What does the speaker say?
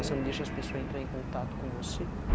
Você não deixa as pessoas entrar em contato com você?